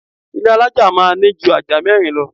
Ilé alaja máa ní jù ajá mẹ́rin lọ